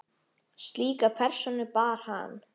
Slíka persónu bar hann.